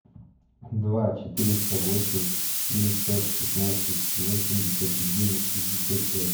два четыреста восемь девятьсот шестнадцать восемьдесят один шестьдесят пять